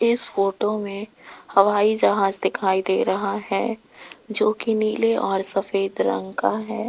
इस फोटो में हवाई जहाज दिखाई दे रहा है जो की नीले और सफेद रंग का है।